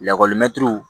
Lakɔlimɛtiriw